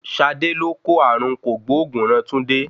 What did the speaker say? Ṣadé ló kó ààrùn kògbóògùn ran Túndé.